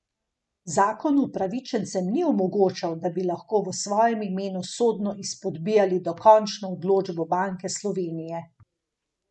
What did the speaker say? Zakon upravičencem ni omogočal, da bi lahko v svojem imenu sodno izpodbijali dokončno odločbo Banke Slovenije.